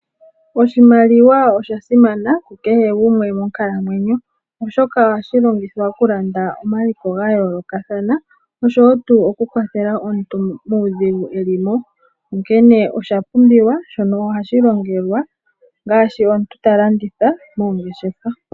Oshimaliwa osha simana kukehe gumwe monkalamwenyo, oshoka ohashi longithwa oku landa omaliko ga yoolokathana osho wo tuu oku kwathela omuntu muudhigu eli mo. Onkene osha pumbiwa shono ohashi longelwa ongaashi omuntu ta landitha moongeshefa.